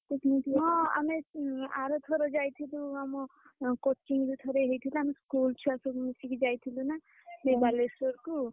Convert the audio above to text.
ହଁ ଆମେ ଆର ଥର ଯାଇଥିଲୁ ଆମ coaching ରୁ ଥରେ ହେଇଥିଲା ଆମ school ଛୁଆ ସବୁ ମିଶିକି ଯାଇଥିଲୁ ନା, ସେ ବାଲେଶ୍ୱରକୁ